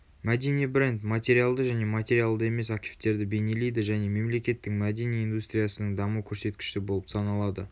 мәдени бренд материалды және материалды емес активтерді бейнелейді және мемлекеттің мәдени индустриясының даму көрсеткіші болып саналады